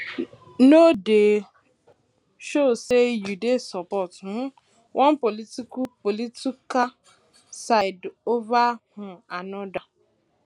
no dey um show sey you dey support um one political political side over um anoda